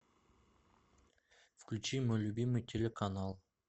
включи мой любимый телеканал